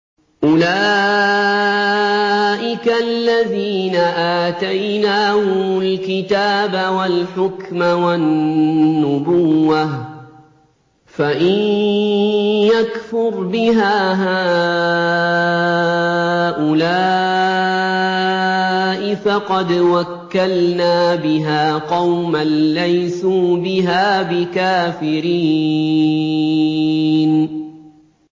أُولَٰئِكَ الَّذِينَ آتَيْنَاهُمُ الْكِتَابَ وَالْحُكْمَ وَالنُّبُوَّةَ ۚ فَإِن يَكْفُرْ بِهَا هَٰؤُلَاءِ فَقَدْ وَكَّلْنَا بِهَا قَوْمًا لَّيْسُوا بِهَا بِكَافِرِينَ